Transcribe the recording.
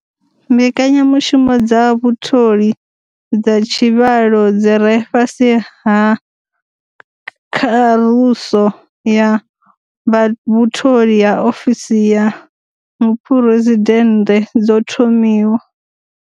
Mbekanyamushumo dza vhutholi dza tshivhalo dzi re fhasi ha kharuso ya vhutholi ha ofisi ya muphuresidennde dzo thomiwa.